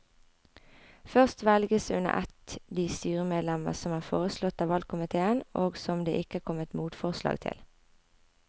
Først velges under ett de styremedlemmer som er foreslått av valgkomiteen og som det ikke er kommet motforslag til.